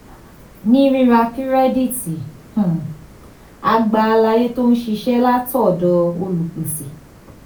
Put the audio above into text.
ní rírà kírẹ́dìtì um a gba àlàyé tó ṣeé ṣe látọ̀dọ̀ olùpèsè.